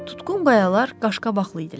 Tutqun qayalar qaşqabaqlı idilər.